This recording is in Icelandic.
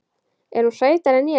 Er hún sætari en ég?